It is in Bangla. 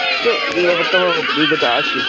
তো এই ব্যাপারটাও আমার মনের ভেতরে আছে